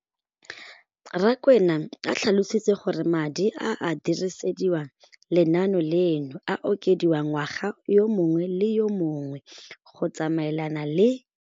Rakwena o tlhalositse gore madi a a dirisediwang lenaane leno a okediwa ngwaga yo mongwe le yo mongwe go tsamaelana le.